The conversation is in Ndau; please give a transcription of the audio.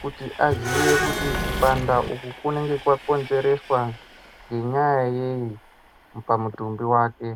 kuti aziye kuti kupanda uku kunenge kwakonzereswa ngenyaya yei pamutumbi wake.